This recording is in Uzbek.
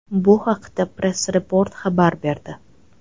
Bu haqda Press Report xabar berdi .